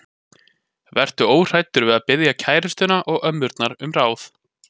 Vertu óhræddur við að biðja kærustuna og ömmurnar um ráð.